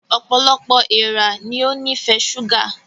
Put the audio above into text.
Ọpọlọpọ èèrà ní o nifẹ ṣuga